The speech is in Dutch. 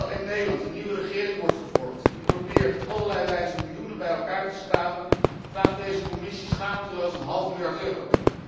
Terwijl in Nederland een nieuwe regering wordt gevormd die probeert op allerlei wijzen miljoenen bij elkaar te schrapen, vraagt deze Commissie schaamteloos een half miljard euro.